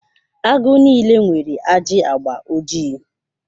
Agụ niile nwere ajị agba ojii.